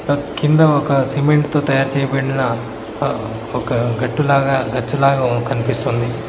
కింద ఒక సిమెంట్ తో తయారు చేయబడిన ఒక గట్టు లాగా గచ్చు లాగా కనిపిస్తుంది.